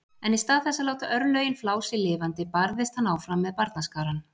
En í stað þess að láta örlögin flá sig lifandi barðist hann áfram með barnaskarann.